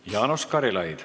Jaanus Karilaid.